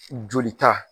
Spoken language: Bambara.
Joli ta